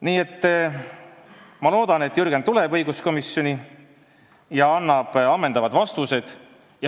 Nii et ma loodan, et Jürgen tuleb õiguskomisjoni ja annab ammendavad vastused.